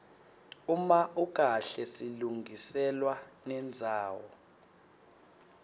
uma ukahle silungiselwa nendzawo